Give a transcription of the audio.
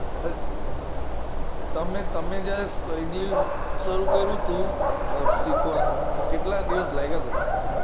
હ તમે તમે જયારે english શરૂ કર્યું તું શીખવાનું તો કેટલા દિવસ લાગ્યતા તા તમને